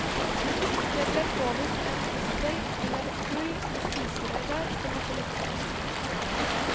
Det ble påvist en fistel, eller et hull, i spiserøret, som måtte lukkes.